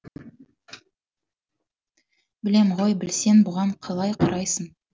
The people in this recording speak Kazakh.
білем ғой білсең бұған қалай қарайсың